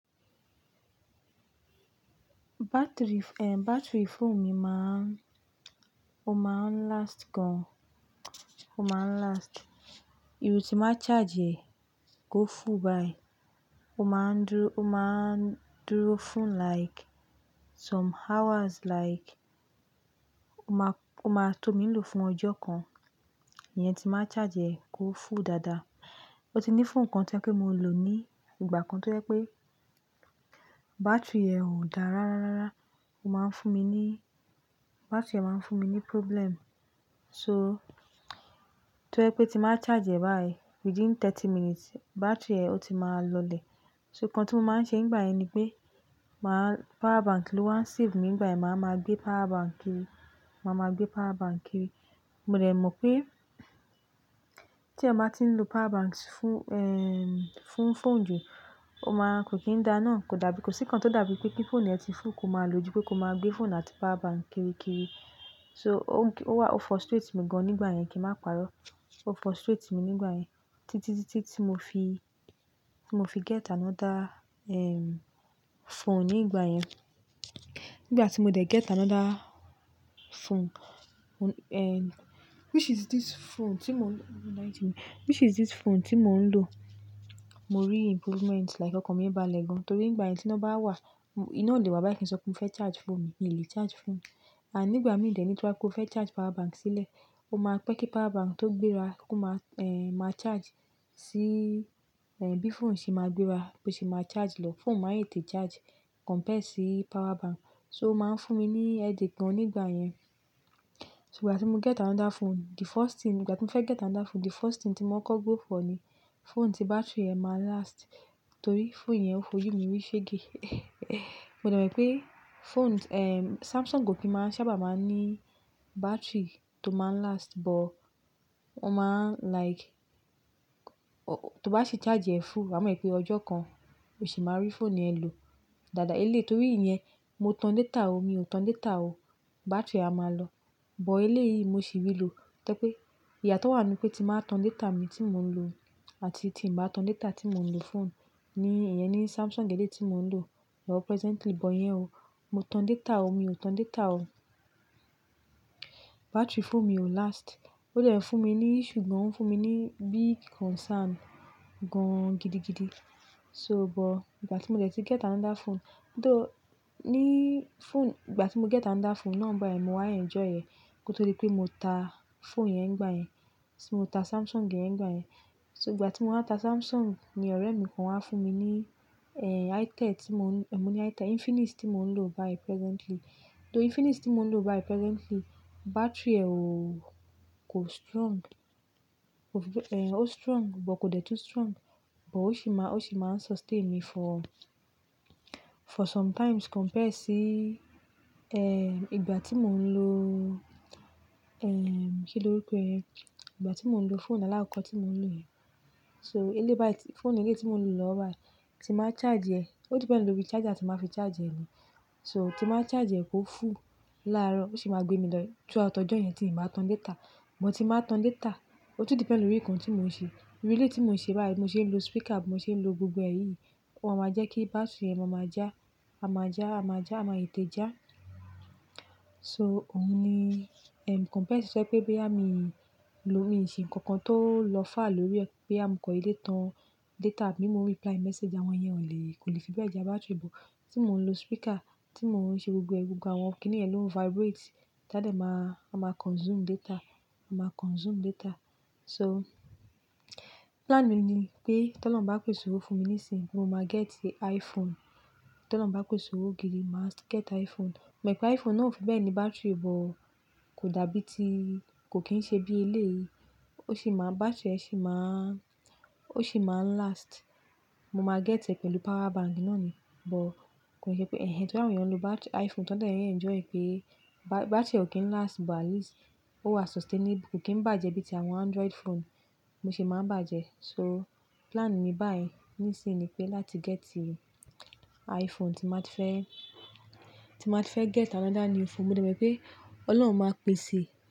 Battery, eh, battery phone mi máa, ó máa ń last gan. Ó máa ń last. Èyí ti máa charge rẹ̀ kó full báyìí, ó máa ń dúró, ó máa ń dúró fún like some hours like, ó máa tó mi lò fún ọjọ́ kan. Ìyẹn tí n bá charge rẹ̀ kó full dáadáa. Ó ti ní phone kan tó jẹ́ pé mo lò ní ìgbà kan tó jẹ pé battery rẹ̀ ò dá rárárárá. Ó máa ń fún mi ní, battery rẹ̀ máa ń fún mi ní problem. So tó jẹ́ pé tí n bá charge rẹ̀ báyìí within thirty minutes, battery rẹ̀ ó ti máa lọlẹ̀. So ǹkan tí mo máa ń ṣe nígbà yẹn ni pé, màá power bank ló waa ń save mi nígbà yẹn. Màá waa ma gbé power bank kiri, màá ma gbé power bank kiri. Mo dẹ̀ mọ̀ pé tí èèyàn bá ti ń lò power banks fún, ehm, fún phone jù, ó máa kò kín dáa náà. Kò dàbí, kò sí kan tó dàbí pé kí phone ẹ ti full kó máa lò ju pé kó máa gbé phone àti power bank kiri kiri. So ó wa, ó frustrate mi gan nígbà yẹn kí n má parọ́. Ó frustrate mi nígbà yẹn títí, títí tí mo fi, mo fi get another, ehm, phone nígbà yẹn. Nígbà tí mo dẹ̀ get another phone, eh, which is this phone tí mò ń lò which is this phone tí mò ń lò. Mo rí improvement like ọkàn mí bá lẹ̀ gan torí nígbà yẹn tí iná bá wà, iná o lè wa báyìí kí n sọ pé mo fẹ́ charge phone mi, mi ò lè charge phone mi. And nígbà mí dẹ ní, tó bá jẹ́ pé o fẹ́ charge power bank sílẹ̀, ó máa pẹ́ kí power bank tó gbéra kó máa, eh, má charge sí, eh, bí phone ṣe máa gbéra bó ṣe máa charge lọ. Phone máa ń tètè charge compare sí power bank. So ó máa ń fún mi ní headache gan nígbà yẹn. So, ìgbà tí mo get another phone, the first thing, ìgbà tí mo fẹ́ get another phone, the first thing tí mò ń kọ́ go for ni phone tí battery rẹ̀ máa last torí phone yẹn ò fojú mi rí ṣege. Mo dẹ̀ mọ̀ pé phones, ehm, Samsung o kì n máa ń sábà máa ń ní battery tó máa ń last, but ó máa ń like, tó bá sì charge rẹ̀ full, wa mọ̀ pé ọjọ́ kan o sì máa rí phone yẹn lò dáadáa. Eléyìí torí ìyẹn, mo tan data o, mi ò tan data o, battery á máa lọ. But eléyìí mo sì rí lò tó pé ìyàtó wà nínú pé tí n bá tan data mi tí mò ń lò àti tí n bá tan data tí mò ń lò phone ni ìyẹn ni Samsung eléyìí tí mò ń lò presently. But ìyẹn o, mo tan data o, mi ò tan data o, battery phone mi ò last. Ó dẹ̀ ń fún mi ní issue gan, ń fún mi ní big concern gan gidigidi. So but ìgbà tí mo dẹ̀ tí get another phone, though ní phone, ìgbà tí mo get another phone náà báyìí, mò wa ń enjoy rẹ̀, kó tó di pé mo ta phone yẹn gbà yẹn, so, mo ta Samsung yẹn nígbà yẹn. So ìgbà tí mò wa ta Samsung ni ọ̀rẹ́ mi kan wá fún mi ní, eh, Itel tí mò ń, eh, mo ní Itel, Infinix tí mò ń lò báyìí presently. Though Infinix tí mò ń lò báyìí presently, battery rẹ̀ o kò strong, eh, o strong, but kò dẹ tún strong. But ó sì máa, ó sì máa ń sustain mi for, for sometimes compare sí, eh, ìgbà tí mò ń lò, eh, kí lóruko e yen? Ìgbà tí mò ń lò phone alákọ̀kọ́ tí mò ń lò yẹn. So eléyìí báyìí, phone eléyìí tí mò ń lò lọ́wọ́ báyìí tí n bá charge rẹ̀, ó depend lórí charger tí n bá fi charge rẹ̀ ni. So tí n bá charge rẹ̀ kó full láàárọ̀, ó sì máa gbé mi lọ through out ọjọ́ yẹn tí ì bá tan data. But tí n bá tan data, ó tún depend lórí nǹkan tí mò ń ṣe. Irú eléyìí tí mò ń ṣe báyìí, bí mo ṣe ń lò speaker, bí mo ṣe ń lò gbogbo ẹ̀yí yìí. Wọn máa ń jẹ́ kí battery rẹ̀ máa ma já, a máa já, a máa já, a máa tètè já. So òun ni, ehm, compare sí se pé boyà míi lò míi ṣe ǹkan kan tó lọ far lórí ẹ, bóyá mo kan dede tán data àbí mo ń reply message, àwọn yẹn ò lè, kò lè fi bẹ́ẹ̀ já battery. But tí mò ń lò speaker, tí mò ń ṣe gbogbo ẹ̀, gbogbo àwọn kìnì yen ló ń vibrate, táa dẹ̀ máa, a máa consume data, a máa consume data. So plánù mi ni pé t'oloun ń bá pèsè owó fún mi níṣínyi, mo máa geti iPhone. T'ólọ́un bá pèsè owó gidi, màá get iPhone. Mo mọ̀ pé iPhone náà ò fi bẹ́ẹ̀ ni battery, but kò dàbí ti, kò kín ṣe bí eléyìí. Ó sì máa, battery rẹ̀ sì máa, ó sì máa ń last. Mo máa get ẹ pẹ̀lú power bank náà ni. But kò n ṣe pé, torí àwọn èèyàn lò battery iPhone, ti wọ́n n dẹ̀ enjoy pé ba-battery rẹ̀ ò kín last, but at least ó wà sustainable. Kò kín bàjẹ́ bíi ti àwọn Android phone bo ṣe máa ń bàjẹ́. So plan mi báyìí níṣínyi ni pé láti geti iPhone tí n bá ti fẹ́, tí n bá ti fẹ́ get another new phone. Mo dẹ̀ mọ̀ pé Ọlọ́run máa pèsè.